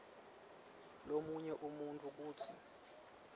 lomunye umuntfu kutsi